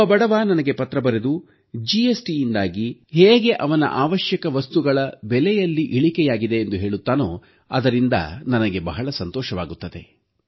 ಒಬ್ಬ ಬಡವ ನನಗೆ ಪತ್ರ ಬರೆದು ಜಿಎಸ್ಟಿಯಿಂದಾಗಿ ಹೇಗೆ ಅವನ ಅವಶ್ಯಕ ವಸ್ತುಗಳ ಬೆಲೆಯಲ್ಲಿ ಇಳಿಕೆಯಾಗಿದೆ ಎಂದು ಹೇಳುತ್ತಾನೋ ಅದರಿಂದ ನನಗೆ ಬಹಳ ಸಂತೋಷವಾಗುತ್ತದೆ